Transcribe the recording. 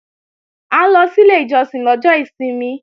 À ń lọ sí ilé ìjọsìn lọ́jọ́ ìsinmi